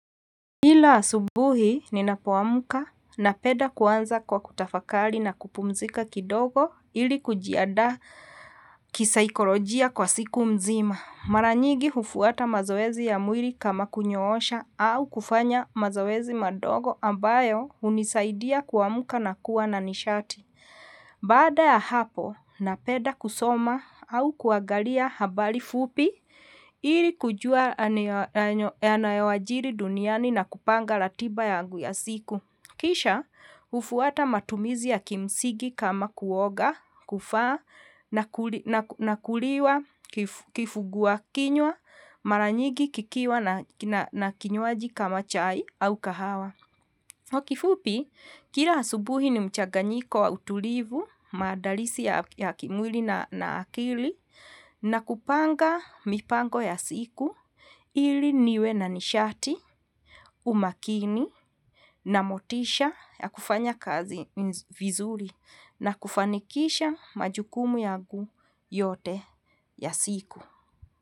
Kila subuhi ninapowamuka napeda kuwanza kwa kutafakali na kupumzika kidogo ili kujiadaa kisaikolojia kwa siku mzima. Maranyigi hufuwata mazoezi ya mwiri kama kunyoosha au kufanya mazoezi madogo ambayo unisaidiya kuwamuka nakua na nishati. Baada ya hapo napeda kusoma au kuagalia habali fupi ili kujuwa yanayowajiri duniani na kupanga latiba yagu ya siku. Kisha hufuata matumizi ya kimsigi kama kuoga, kufaa na kuliwa, kifuguwa, kinywa, malanyigi, kikiwa na kinywaji kama chai au kahawa. Kwa kifupi kila subuhi nimchaganyiko wa utulivu, maadalisi ya kimwili na akili, nakupanga mipango ya siku, ili niwe na nishati, umakini, na motisha ya kufanya kazi vizuli, nakufanikisha majukumu yagu yote ya siku.